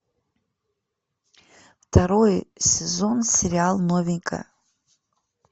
второй сезон сериал новенькая